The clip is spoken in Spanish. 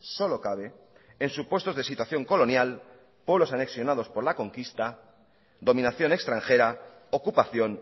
solo cabe en supuestos de situación colonial o los anexionados por la conquista dominación extranjera ocupación